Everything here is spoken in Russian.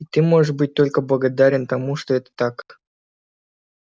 и ты можешь быть только благодарен тому что это так